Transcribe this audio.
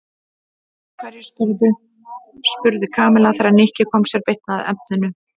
Af hverju spyrðu? spurði Kamilla þegar Nikki kom sér beint að efninu.